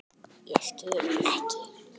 Ég skil ekki.